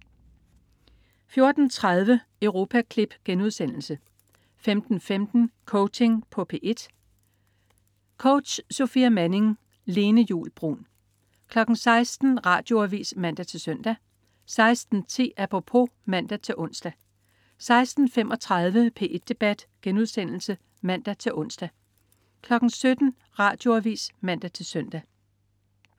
14.30 Europaklip* 15.15 Coaching på P1. Coach: Sofia Manning. Lene Juul Bruun 16.00 Radioavis (man-søn) 16.10 Apropos (man-ons) 16.35 P1 Debat* (man-ons) 17.00 Radioavis (man-søn)